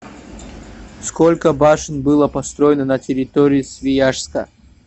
сколько башен было построено на территории свияжска